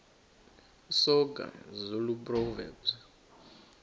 soga zulu proverbs